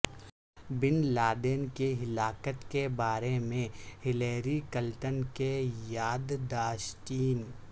بن لادن کی ہلاکت کے بارے میں ہیلری کلنٹن کی یاد داشتیں